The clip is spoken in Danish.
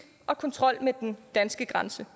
og kontrol med den danske grænse